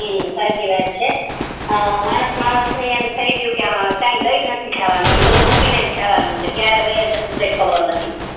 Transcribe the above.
હા સાચી વાત છે માણસ માણસ મા એમ થી ગયું કે બધુ મૂકી નેજ જવાનું છે કી લાય નથી જવાનું કીરે વય જાસુ કોઈને ખબર નથી